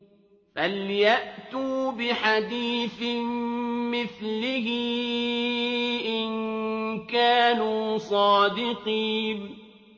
فَلْيَأْتُوا بِحَدِيثٍ مِّثْلِهِ إِن كَانُوا صَادِقِينَ